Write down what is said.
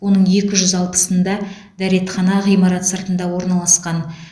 оның екі жүз алпысында дәретхана ғимарат сыртында орналасқан